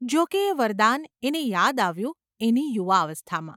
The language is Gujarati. જોકે એ વરદાન એને યાદ આવ્યું એની યુવાવસ્થામાં.